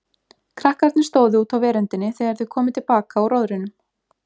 Krakkarnir stóðu úti á veröndinni þegar þau komu til baka úr róðrinum.